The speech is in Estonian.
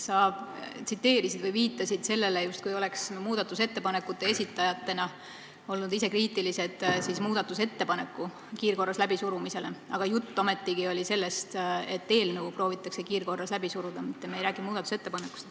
Sa viitasid sellele, justkui oleks me muudatusettepanekute esitajatena olnud ise kriitilised muudatusettepaneku kiirkorras läbisurumise suhtes, aga jutt oli ometigi sellest, et eelnõu proovitakse kiirkorras läbi suruda, me ei räägi siin muudatusettepanekust.